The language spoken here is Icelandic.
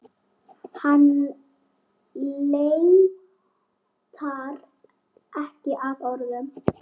Hann leitar ekki að orðum.